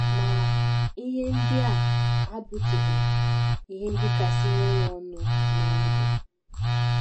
Ma, ihe ndị a abụtụghị ihe ndị kasị nye ya ọṅụ ná ndụ.